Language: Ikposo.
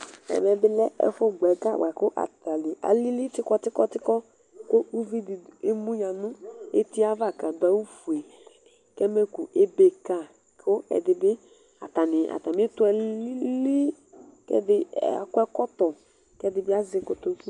Ɛme bilɛ ɛfʋ gbɔ ɛga buakʋ alili tsukɔ tsukɔ tsukɔ evidi emuya nʋbeti yɛ ava kʋ adʋ awʋfue kʋ ɛmɛkʋ ebe ka kʋ ɛdibi atani bi ɛtʋ alili kʋ ɛdi akɔ ɛkɔtɔ kʋ ɛdibi azɛ kotoku